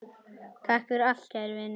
Takk fyrir allt, kæri vinur.